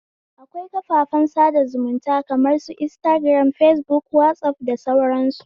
Akwai kafafen sada zumunta kamar su instagiram, fesbuk, wazaf da sauran su.